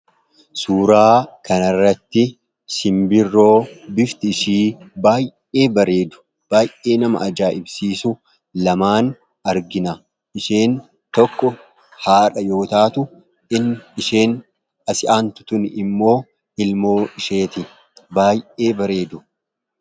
Suuraa kanarratti simbirroo bifti ishii baayee bareedu baayee nama ajaaibsiisu lamaan argina. Isheen tokko haadha yootaatu in isheen asi'aantu tun immoo ilmoo isheeti baayee bareedu.